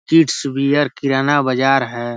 Kids wear kirana बाजार है।